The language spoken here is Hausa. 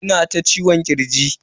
Ina ta ciwon kirji.